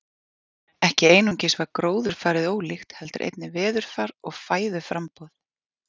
Ekki einungis var gróðurfarið ólíkt heldur einnig veðurfar og fæðuframboð.